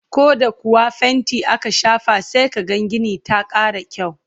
koh da kuwa fainti aka shafa sai kaga Gini ta Kara kyau